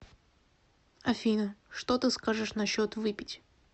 афина что ты скажешь насчет выпить